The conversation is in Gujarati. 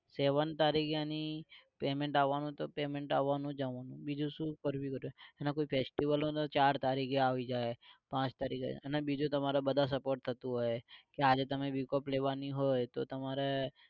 seven તારીખે એની payment આવાનું તો કે payment આવાનું જ આવાનું બીજું શું કરવી અને કોઈ festival હોય તો ચાર તારીખે આવી જાય પાંચ તારીખે આઈ જાય અને બીજું તમારે બધા support કરતુ હોય કે આજે તમારે week off લેવાનું હોય તો તમારે